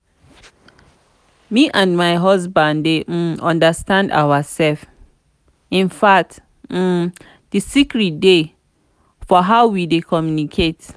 me and my husband dey um understand ourselves infact um the secret dey for how we dey communicate